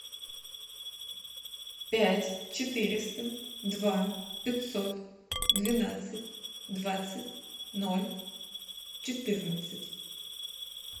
пять четыреста два пятьсот двенадцать двадцать ноль четырнадцать